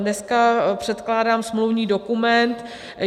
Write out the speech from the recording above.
Dneska předkládám smluvní dokument.